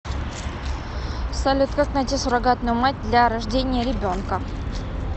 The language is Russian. салют как найти суррогатную мать для рождения ребенка